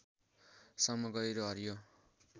सम्म गहिरो हरियो